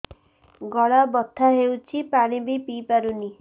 ଗଳା ବଥା ହଉଚି ପାଣି ବି ପିଇ ପାରୁନି